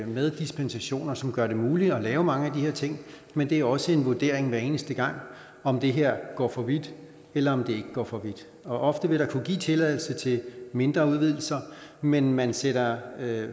med dispensationer som gør det muligt at lave mange af de her ting men det er også en vurdering hver eneste gang om det her går for vidt eller om det ikke går for vidt og ofte vil der kunne gives tilladelse til mindre udvidelser men man sætter